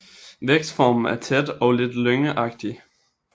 Vækstformen er tæt og lidt lyngagtig